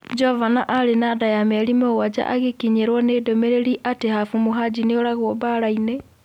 Jovana arĩ na nda ya mĩeri mũgwaja agĩkinyĩrwo ni ndũmĩrĩri atĩ Hafu Muhajĩ nĩoragwo mbarainĩ.